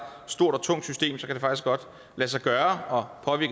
stort og tungt system kan det faktisk godt lade sig gøre